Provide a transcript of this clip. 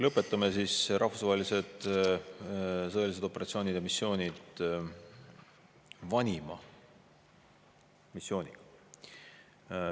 Lõpetame siis rahvusvaheliste sõjaliste operatsioonide ja missioonide käsitlemise vanima missiooniga.